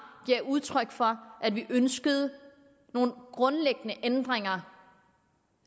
gav udtryk for at vi ønskede nogle grundlæggende ændringer